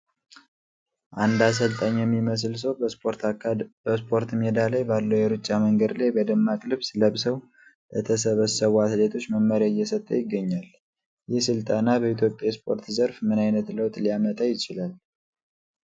አንድ አሰልጣኝ የሚመስል ሰው በስፖርት ሜዳ ላይ ባለው የሩጫ መንገድ ላይ በደማቅ ልብስ ለብሰው ለተሰባሰቡ አትሌቶች መመሪያ እየሰጠ ይገኛል። ይህ ስልጠና በኢትዮጵያ የስፖርት ዘርፍ ምን ዓይነት ለውጥ ሊያመጣ ይችላል?